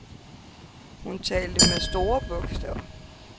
Hun talte med store bogstaver.